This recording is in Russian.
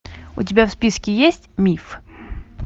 у тебя в списке есть миф